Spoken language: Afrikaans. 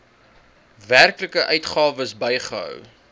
werklike uitgawes bygehou